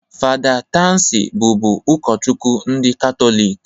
Fada Tansi bụbu ukochukwu ndị Katọlik